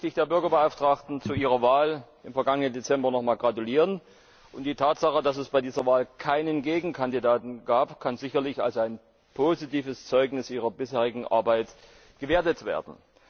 Zunächst möchte ich der Bürgerbeauftragten zu ihrer Wahl im vergangenen Dezember noch mal gratulieren. Die Tatsache, dass es bei dieser Wahl keinen Gegenkandidaten gab, kann sicherlich als ein positives Zeugnis ihrer bisherigen Arbeit gewertet werden.